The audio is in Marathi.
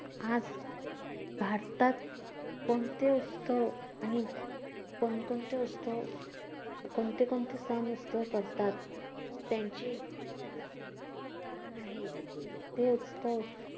आज भारतात कोणते उत्सव आणि कोणकोणते उत्सव कोणते कोणते सण उत्सव करतात त्यांची कारण आहे, तो उत्सव